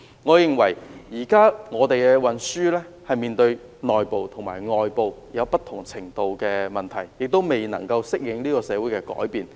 我認為現時本港的交通運輸正面對內部及外部不同程度的問題，亦未能夠適應社會的改變。